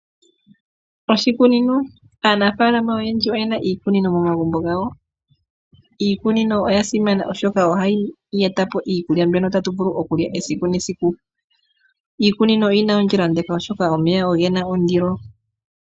Aanafalama oyendji oyena iikunino momagumbo gawo, iikunino oya simana oshoka ohayi etapo iikulya mbyono tatu vulu okulya esiku nesiku. Iikunino oyi na ondjila ondeka oshoka omeya ogena ondilo.